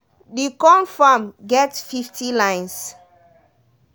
that corm farm get fifty lines.